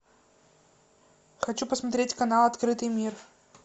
хочу посмотреть канал открытый мир